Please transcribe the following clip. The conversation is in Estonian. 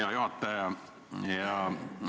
Hea juhataja!